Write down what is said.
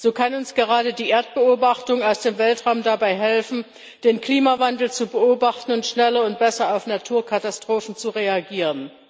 So kann uns gerade die Erdbeobachtung aus dem Weltraum dabei helfen, den Klimawandel zu beobachten und schneller und besser auf Naturkatastrophen zu reagieren.